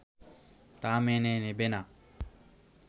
তা মেনে নেবে না